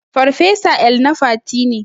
Farfesa El-nafati ne.